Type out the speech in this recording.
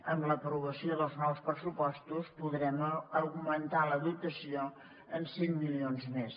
amb l’aprovació dels nous pressupostos podrem augmentar la dotació en cinc milions més